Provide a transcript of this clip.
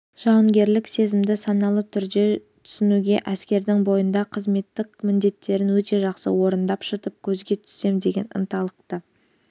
жауынгерлік сезімді саналы түрде түсінуге әскердің бойында қызметтік міндеттерін өте жақсы орындап шытып көзге түссем деген ынталылықты